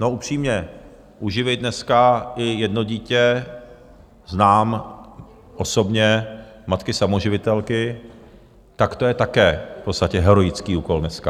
No, upřímně, uživit dneska i jedno dítě - znám osobně matky samoživitelky - tak to je také v podstatě heroický úkol dneska.